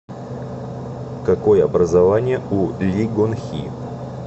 какое образование у ли гонхи